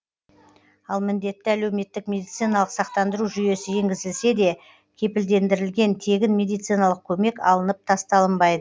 ал міндетті әлеуметтік медициналық сақтандыру жүйесі енгізілсе де кепілдендірілген тегін медициналық көмек алынып тасталынбайды